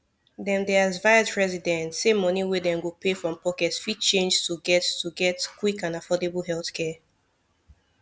dem dey advise residents say money wey dem go pay from pocket fit change to get to get quick and affordable healthcare